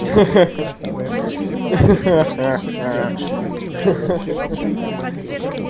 ха-ха